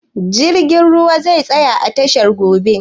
Jirgin ruwan zai tsaya a tashar gobe?